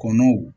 Kɔnɔw